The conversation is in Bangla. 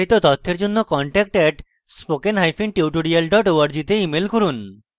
বিস্তারিত তথ্যের জন্য contact @spokentutorial org তে ইমেল করুন